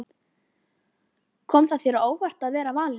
Kom það þér á óvart að vera valinn?